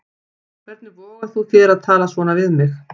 Hvernig vogar þú þér að tala svona við mig.